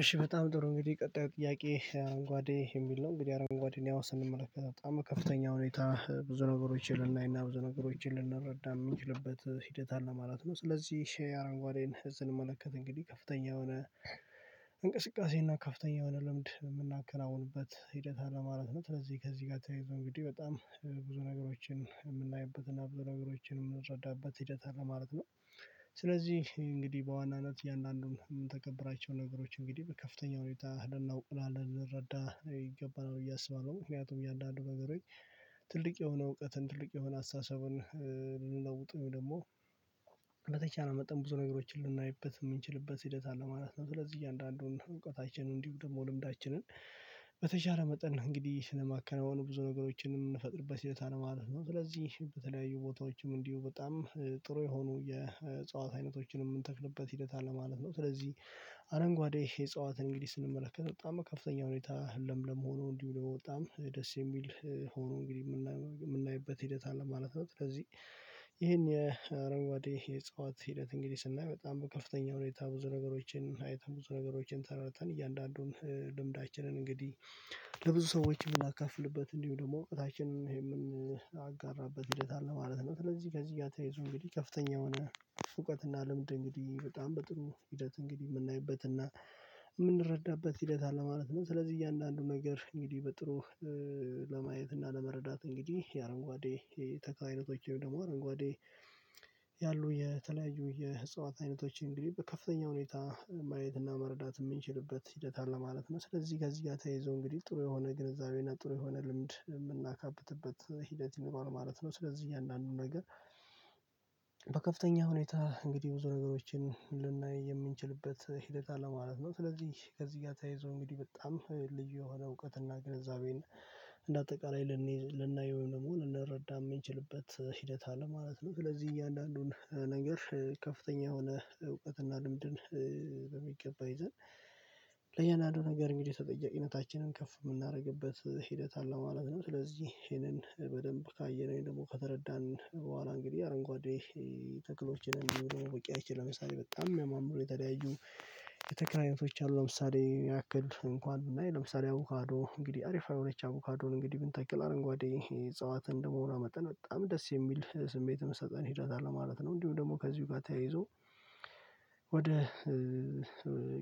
እሺ በጣም ጥሩ እንግዲህ ቀጣዩ ጥያቄ አረንጓዴ የሚል ነው። እንግዲህ አረንጓዴ እኔ አሁን ስንመለከት በጣም ከፍተኛ ሁኔታ ብዙ ነገሮችን ልናይና ብዙ ነገሮችን ልንረዳ የምንችልበት ሂደት አለ ማለት ነው። ስለዚህ አረንጓዴን ስንመለከት እንግዲህ ከፍተኛ የሆነ እንቅስቃሴ እና ከፍተኛ የሆነ ልምድ የምናከናውንበት ሂደት አለ ማለት ነው። ከዚህ ከዚህ ጋር ተያይዞ እንግዲህ በጣም ብዙ ነገሮችን የምናይበት እና ብዙ ነገሮችን የምንረዳበት ሂደት አለ ማለት ነው። ስለዚህ እንግዲህ በዋናነት እያንዳንዱን የምንተግበራቸው ነገሮች እንግዲህ በከፍተኛ ሁኔታ ልናውቅ እና ልንረዳ ይገባናል ብየ አስባለሁ። ምክንያቱም እያንዳንዱ ነገሮች ትልቅ የሆነ እውቀትን ትልቅ የሆነ አስተሳሰብን። ልንለውጥ ደግሞ በተቻለ መጠን ብዙ ነገሮችን ልናይበት የምንችልበት ሂደት አለ ማለት ነው። ስለዚህ እያንዳንዱን እውቀታችን እንዲሁ ደግሞ ልምዳችንን በተሻለ መጠን እንግዲህ ስለማከናወኑ ብዙ ነገሮችንም የምንፈጥርበት ሂደት አለ ማለት ነው። ስለዚህ በተለያዩ ቦታዎችም እንዲሁ በጣም ጥሩ የሆኑ የእጽዋት አይነቶችን የምንተክልበት ሂደት አለ ማለት ነው። ስለዚህ አረንጓዴ የእጽዋትን እንግዲህ ስንመለከት በጣም ከፍተኛ ሁኔታ ለምለም ሆኖ እንዲህ ነው በጣም ደስ የሚል ሆኖ እንግዲህ የምናይበት ሂደት አለ ማለት ነው። ከዚህ ይሄን የአረንጓዴ የእጽዋት ሂደት እንግዲህ ስናይ በጣም ከፍተኛ ሁኔታ ብዙ ነገሮችን አይተን ብዙ ነገሮችን ተረድተን እያንዳንዱን ልምዳችንን እንግዲህ ለብዙ ሰዎች የምናከፍልበት እንዲሁ ደግሞ እውቀታችንን የምንጋራበት ሂደት አለ ማለት ነው። ስለዚህ ከዚህ ጋር ተይዞ እንግዲህ ከፍተኛ የሆነ እውቀት እና ልምድ እንግዲህ በጣም በጥሩ ሂደት እንግዲህ የምናይበትና የምንረዳበት ሂደት አለ ማለት ነው። ስለዚህ እያንዳንዱ ነገር እንግዲህ በጥሩ ለማየት እና ለመረዳት እንግዲህ የአረንጓዴ ተክል አይነቶች ወይም ደግሞ አረንጓዴ ያሉ የተለያዩ የህፃዋት አይነቶችን እንግዲህ ከፍተኛ ሁኔታ ማየትና መረዳት የምንችልበት ሂደት አለ ማለት ነው። ስለዚህ ጋር እዚህ ጋር ተይዞ እንግዲህ ጥሩ የሆነ ግንዛቤና ጥሩ የሆነ ልምድ የምናካብትበት ሂደት ይኖራል ማለት ነው። ስለዚህ አንዳንዱ ነገር በከፍተኛ ሁኔታ እንግዲህ ብዙ ነገሮችን ልናይ የምንችልበት ሂደት አለ ማለት ነው። ስለዚህ ከዚህ ጋር ተያይዞ እንግዲህ በጣም ልዩ የሆነ እውቀትና ግንዛቤን እንደ አጠቃላይ ልናይ ወይም ደግሞ ልንረዳ የምንችልበት ሂደት አለ ማለት ነው። ስለዚህ እያንዳንዱን ነገር ከፍተኛ የሆነ እውቀትና ልምድን በሚገባ ይዘን ለእያንዳንዱ ነገር እንግዲህ ተጠያቂነታችንን ከፍ የምናደርግበት ሂደት አለ ማለት ነው። ስለዚህ ይሄንን በደንብ ካየነኝ ደግሞ ከተረዳን በኋላ እንግዲህ አረንጓዴ ተክሎችን እንዲሁም ውቅያችን ለምሳሌ በጣም የማምረው የተለያዩ የተክል አይነቶች አሉ። ለምሳሌ ያክል እንኳን ብናይ ለምሳሌ አቡካዶ እንግዲህ አሪፋ የሆነች አቮካዶን እንግዲህ ብንተክል አረንጓዴ እጽዋት ደግሞመሆኗ መጠን በጣም ደስ የሚል ስሜትም ትሰጠን ሂደት አለ ማለት ነው። እንዲሁ ደግሞ ከዚሁ ጋር ተያይዞ ወደ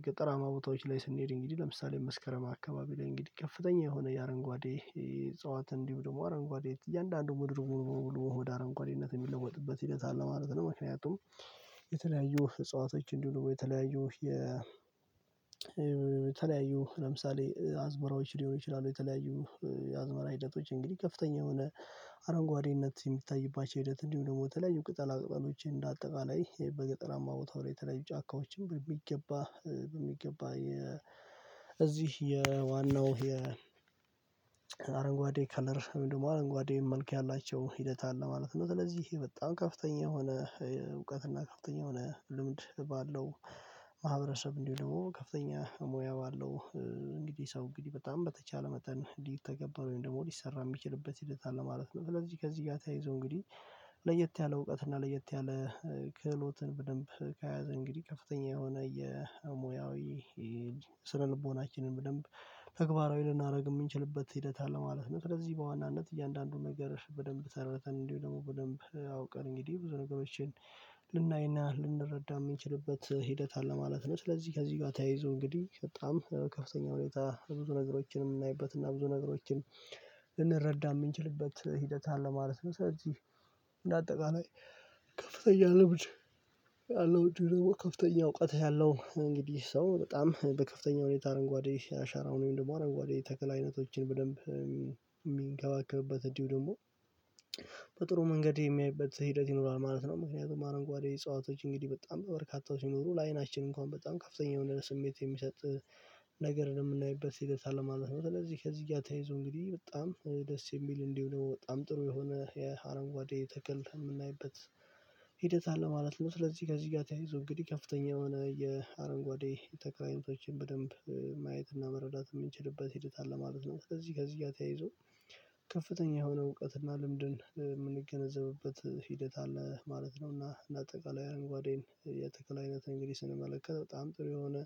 ገጠራማ ቦታዎች ላይ ስንሄድ እንግዲህ ለምሳሌ መስከረም አካባቢ ላይ እንግዲህ ከፍተኛ የሆነ የአረንጓዴ የጸዋት እንዲህ ደግሞ አረንጓዴ እያንዳንዱ ምድር ሙሉ ሙሉ ሙሉ ወደ አረንኳዴነት የሚለወጥበት ይገታል ማለት ነው። ምክንያቱም የተለያዩ እጽዋቶች እንዲሆኑ የተለያዩ የተለያዩ ለምሳሌ አዝመራዎች ሊሆኑ ይችላሉ። የተለያዩ የአዝመራ ሂደቶች እንግዲህ ከፍተኛ የሆነ አረንጓዴነት የሚታይባቸው ሂደት እንዲሁ ደግሞ ተለያይ ቅጠል ቅጠሎች እንደ አጠቃላይ በገጠራማ ቦታው ላይ የተለያዩ ጫካዎችን ብለው የሚገባ በሚገባ እዚህ የዋናው የአረንጓዴ ከለር ወይም ደግሞ አረንጓዴም መልክ ያላቸው ሂደት አለ ማለት ነው። ስለዚህ በጣም ከፍተኛ የሆነ እውቀት እና ከፍተኛ የሆነ ልምድ ባለው ማህበረሰብ እንዲሁም ደግሞ ከፍተኛ ሙያ ባለው እንግዲህ ሰው እንግዲህ በጣም በተቻለ መጠን ሊተገበር ወይም ደግሞ ሊሰራ የሚችልበት ሂደት አለ ማለት ነው። ስለዚህ ከዚህ ጋር ተያይዞ እንግዲህ ለየት ያለ እውቀት እና ለየት ያለ ክህሎትን በደንብ ከያዘ እንግዲህ ከፍተኛ የሆነ የሙያዊ ስነልቦናችንን በደንብ ተግባራዊ ልናደርግ የምንችልበት ሂደት አለ ማለት ነው። ስለዚህ በዋናነት እያንዳንዱን ነገር በደንብ ተረድተን እንዲሁ ደግሞ በደንብ አውቀን እንግዲህ ብዙ ነገሮችን ልናይና ልንረዳ የምንችልበት ሂደት አለ ማለት ነው። ስለዚህ ከዚህ ጋር ተያይዞ እንግዲህ በጣም ከፍተኛ ሁኔታ ብዙ ነገሮችንም የምናይበት እና ብዙ ነገሮችን ልንረዳ የምንችልበት ሂደት አለ ማለት ነው። ስለዚህ እንደ አጠቃላይ ከፍተኛ ልምድ እውቀት ያለው እንግዲህ ያለው እንግዲህ ሰው በጣም በከፍተኛ ሁኔታ አረንጓዴ ያሻራው ነው። ደግሞ አረጓዴ ተክል አይነቶችን በደንብ የሚንገባክብበት እንዲሁ ደግሞ በጥሩ መንገድ የሚያይበት ሂደት ይኖራል ማለት ነው። ምክንያቱም አረንጓዴ እጸዋቶች እንግዲህ በጣም በበርካታው ሲኖሩ ለአይናችን እንኳን በጣም ከፍተኛ የሆነ ስሜት የሚሰጥ ነገር ነው የምናይበት ሂደት አለ ማለት ነው። ስለዚህ ከዚህ ጋር ተያይዞ እንግዲህ በጣም ደስ የሚል እንዲሁ ደግሞ በጣም ጥሩ የሆነ የአረጓዴ ተክል የምናይበት ሂደት አለ ማለት ነው። ስለዚህ ከዚህ ጋር ተያይዞ እንግዲህ ከፍተኛ የሆነ የአረንጓዴ ተክል አይነቶችን በደንብ ማየትና መረዳት የምንችልበት ሂደት አለ ማለት ነው። ከዚህ ከዚህ ጋር ተያይዞ ከፍተኛ የሆነ እውቀትና ልምድን የምንገነዘብበት ሂደት አለ ማለት ነው። እና አጠቃላይ አረንጓዴን የተክለ አይነት እንግዲህ ስንመለከተው በጣም ጥሩ የሆነ